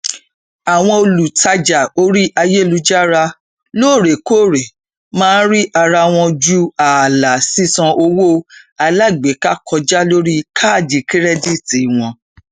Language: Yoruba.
àwọn olùtàjá orí ayélujára loorekoore máa ń rí ara wọn ju ààlà sísan owó alágbèéká kọjá lórí káàdì kirẹdìtì wọn